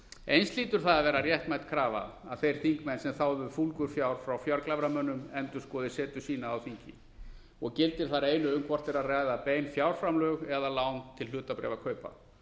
eins hlýtur það að vera réttmæt krafa að þeir þingmenn sem þáðu fúlgur fjár frá fjárglæframönnunum endurskoði setu sína á þingi gildir þar einu um hvort er að ræða bein fjárframlög eða lán til hlutabréfakaupa